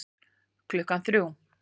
Klukkan þrjú